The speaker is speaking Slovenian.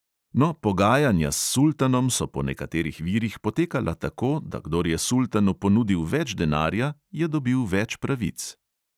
No, pogajanja s sultanom so po nekaterih virih potekala tako, da kdor je sultanu ponudil več denarja, je dobil več pravic.